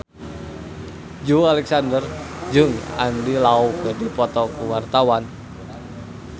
Joey Alexander jeung Andy Lau keur dipoto ku wartawan